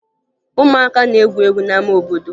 Ụmụaka na-egwu egwu n'ama obodo